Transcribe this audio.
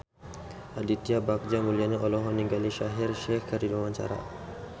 Aditya Bagja Mulyana olohok ningali Shaheer Sheikh keur diwawancara